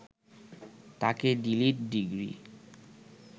তাঁকে D Litt degree